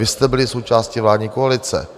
Vy jste byli součástí vládní koalice.